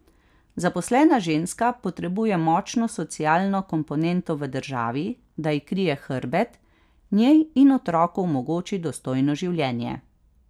Zaposlena ženska potrebuje močno socialno komponento v državi, da ji krije hrbet, njej in otroku omogoči dostojno življenje.